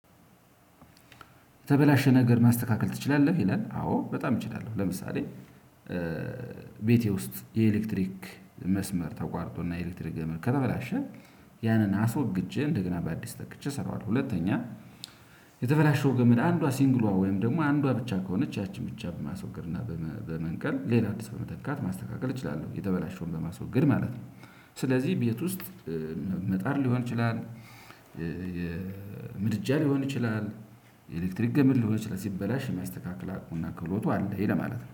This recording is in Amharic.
የተበላሸ ነገር ማስተካከል ትችላለህ? ይላል አዎ በጣም እችላለው ለምሳሌ። ቤቴ ውስጥ የኤሌክትሪክ መስመር ተቋርጦና የኤሌክትሪክ ገመድ ከተበላሸ ያንን አስወግጄ እንደገና በአዲስ ተክቼ እሰራዋለሁ። ሁለተኛ የተበላሸው ገመድ አንዷ ሲንግሏ ወይም ደግሞ አንዷ ብቻ ከሆነች ያቺን ብቻ በማስወገድ እና በመንቀል ሌላ አዲስ በመተካት ማስተካከል እችላለሁ የተበላሸውን በማስወገድ ማለት ነው። ስለዚህ ቤት ውስጥ ምጣድ ሊሆን ይችላል። ምድጃ ሊሆን ይችላል። የኤሌክትሪክ ገመድ ሊሆን ይችላል ሲበላሽ የሚያስተካክል አቁሙና ክህሎቱ አለኝ ለማለት ነው